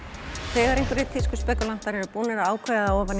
þegar einhverjir tískuspekúlantar eru búnir að ákveða